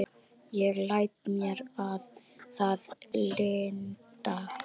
Ég læt mér það lynda.